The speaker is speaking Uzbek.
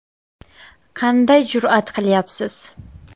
Qanday jur’at qilyapsiz?